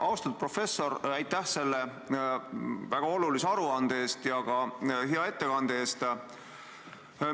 Austatud professor, aitäh selle väga olulise aruande eest ja ka hea ettekande eest!